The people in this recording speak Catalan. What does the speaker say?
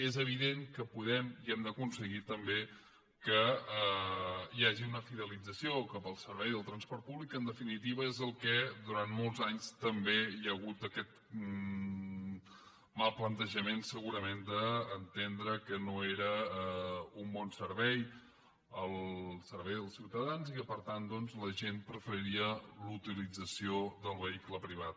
és evident que podem i hem d’aconseguir també que hi hagi una fidelització cap al servei del transport públic que en definitiva és en el que durant molts anys també hi ha hagut aquest mal plantejament segurament d’entendre que no era un bon servei el servei als ciutadans i que per tant doncs la gent preferia la utilització del vehicle privat